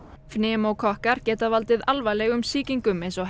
pneumókokkar geta valdið alvarlegum sýkingum eins og